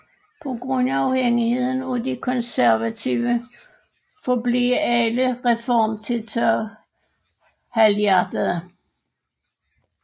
På grund af afhængigheden af de konservative forblev alle reformtiltag halvhjertede